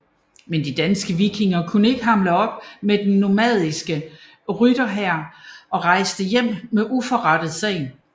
Men de danske vikinger kunne ikke hamle op med den normanniske rytterhær og rejste hjem med uforrettet sag